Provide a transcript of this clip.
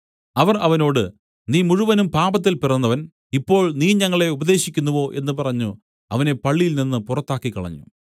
അവർ അവനോട് നീ മുഴുവനും പാപത്തിൽ പിറന്നവൻ ഇപ്പോൾ നീ ഞങ്ങളെ ഉപദേശിക്കുന്നുവോ എന്നു പറഞ്ഞു അവനെ പള്ളിയിൽനിന്ന് പുറത്താക്കിക്കളഞ്ഞു